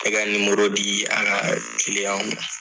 Tɛgɛ di a ka ma.